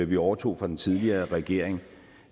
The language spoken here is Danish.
vi overtog fra den tidligere regering